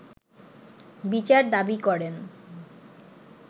বিচার দাবি করেন